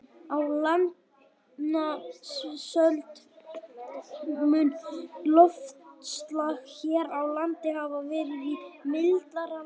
Á landnámsöld mun loftslag hér á landi hafa verið í mildara lagi.